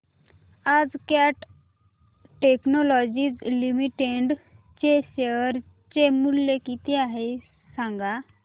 आज cat technologies limited चे share चे मूल्य किती आहे सांगा